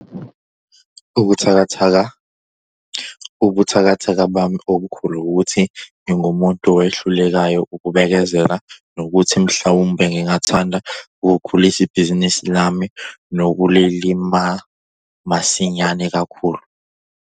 Ubuthakathaka - Ubuthakathaka bami obukhulu ukuthi ngingumuntu owehlulekayo ukubekezela nokuthi mhlawumbe ngingathanda ukukhulisa ibhizinisi lami lokulima masinyane kakhulu.